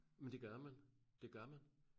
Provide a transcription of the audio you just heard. Men det gør man det gør man